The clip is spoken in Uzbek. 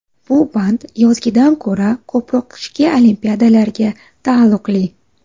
Bu band yozgidan ko‘ra ko‘proq qishki Olimpiadalarga taalluqli.